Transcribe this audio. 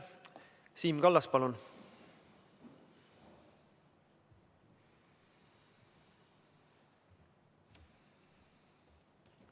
Siim Kallas, palun!